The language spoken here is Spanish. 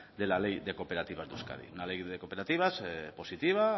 de la ley de cooperativas de euskadi una ley de cooperativas positiva